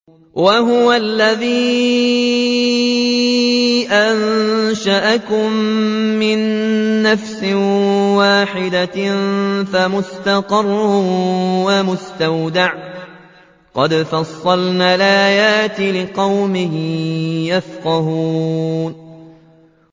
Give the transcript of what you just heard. وَهُوَ الَّذِي أَنشَأَكُم مِّن نَّفْسٍ وَاحِدَةٍ فَمُسْتَقَرٌّ وَمُسْتَوْدَعٌ ۗ قَدْ فَصَّلْنَا الْآيَاتِ لِقَوْمٍ يَفْقَهُونَ